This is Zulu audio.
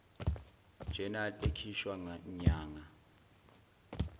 journal ekhishwa nyanga